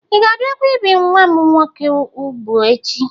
Ị ga-abịakwa ibi nwa m nwoke ubụ echi?